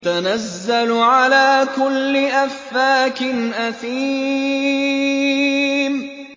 تَنَزَّلُ عَلَىٰ كُلِّ أَفَّاكٍ أَثِيمٍ